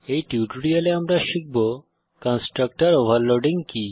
এই টিউটোরিয়ালে আমরা শিখব কনস্ট্রাক্টর ওভারলোডিং কি